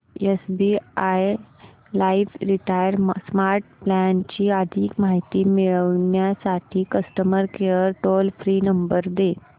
SBI life retire smart plan ची अधिक माहिती मिळविण्यासाठी customer care toll free number दे